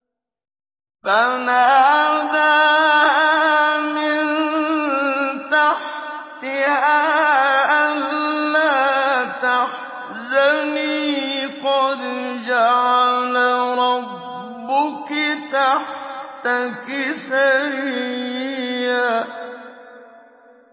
فَنَادَاهَا مِن تَحْتِهَا أَلَّا تَحْزَنِي قَدْ جَعَلَ رَبُّكِ تَحْتَكِ سَرِيًّا